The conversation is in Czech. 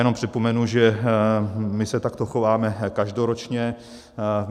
Jenom připomenu, že my se takto chováme každoročně.